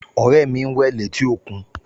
Ọ̀rẹ́ mi ń wẹ̀ létí òkún